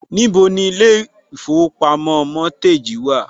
Níbo ni ilé ìfowópamọ́ Mortgage wà?